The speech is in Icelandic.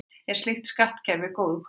Er slíkt skattkerfi góður kostur?